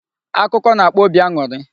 Akụkọ na-akpa obi aṅụrị.